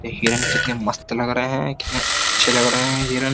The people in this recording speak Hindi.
ये हिरन कितने मस्त लग रहे हैं कितने अच्छे लग रहे हैं हिरन।